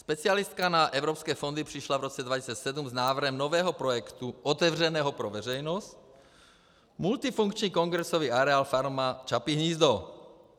Specialistka na evropské fondy přišla v roce 2007 s návrhem nového projektu otevřeného pro veřejnost, multifunkční kongresový areál Farma Čapí hnízdo.